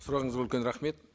сұрағыңызға үлкен рахмет